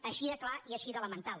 així de clar i així d’elemental